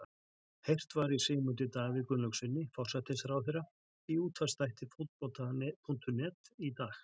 Heyrt var í Sigmundi Davíð Gunnlaugssyni, forsætisráðherra, í útvarpsþætti Fótbolta.net í dag.